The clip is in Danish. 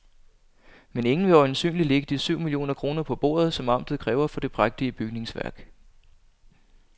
Men ingen vil øjensynligt lægge de syv millioner kroner på bordet, som amtet kræver for det prægtige bygningsværk.